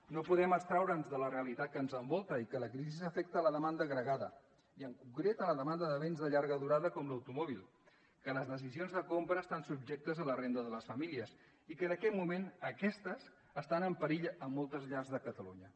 no podem abstreure’ns de la realitat que ens envolta i que la crisi afecta la demanda agregada i en concret la demanda de béns de llarga durada com l’automòbil que les decisions de compra estan subjectes a la renda de les famílies i que en aquest moment aquesta està en perill a moltes llars de catalunya